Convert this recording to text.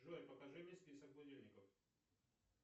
джой покажи мне список будильников